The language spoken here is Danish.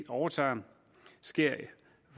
overtager sker